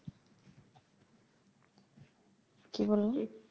কি বললেন এ